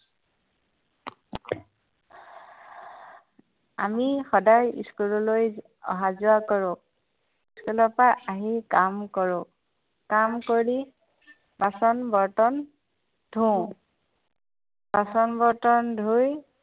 আমি সদায় school লৈ অহা যোৱা কৰো। school ৰ পৰা আহি কাম কৰো। কাম কৰি, বাচন বৰ্তন ধোও। বাচন বৰ্তন ধুই